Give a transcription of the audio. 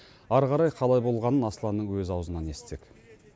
ары қарай қалай болғанын асланның өз аузынан естісек